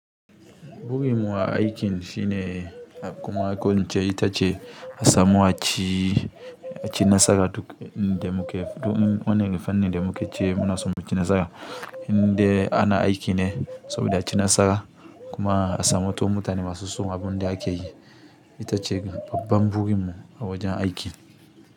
Burin mu a aikin shine a kuma ko ince ita ce a samu a ci, a ci nasara duk inda muke. Duk in wani irin fanin da mu ke ce muna son mu ci nasara. Indai ana aiki ne saboda aci nasara kuma a samu to mutane masu son abun da ake yi. Ita ce babban buyin mu a wajen aikin.